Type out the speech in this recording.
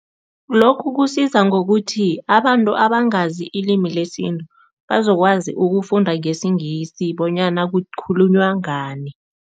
Lokhu kusiza ngokuthi abantu abangazi ilimi lesintu, bazokwazi ukufunda ngesiNgisi bonyana kukhulunywa ngani.